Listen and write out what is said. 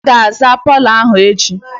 I ga-aza palọ ahụ echi!